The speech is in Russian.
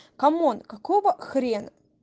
камон какого хрена